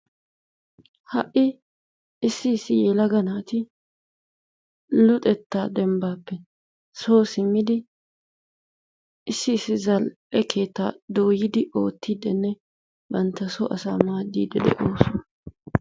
Ha'i issi issi yelaga naati luxettaa dembbaappe soo siimmidi issi issi zal"e keettaa dooyidi oottidinne bantta soo asaa maaddidi de"oosona.